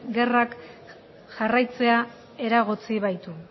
gerrak jarraitzea eragotzi baitu